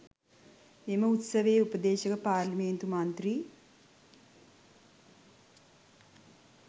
මෙම උත්සවයේ උපදේශක පාරේලිමේන්තු මන්ත්‍රී